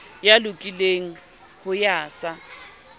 ya lokileng ho ya sa